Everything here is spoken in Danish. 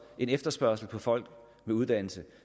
en efterspørgsel på folk med uddannelse